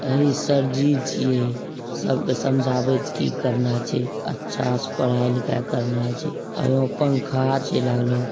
अ इ सर जी छिये सबको समझावत की की करना चाइये अच्छा पढ़ाई-लिखाई करना चेहये एमे पंखा लागलो छिये।